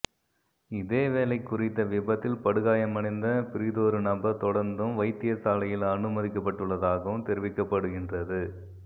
இதேவேளை குறித்த விபத்தில் படுகாயமடைந்த பிரிதொரு நபர் தொடர்ந்தும் வைத்தியசாலையில் அனுமதிக்கப்பட்டுள்ளதாகவும் தெரிவிக்கப்படுகின்றது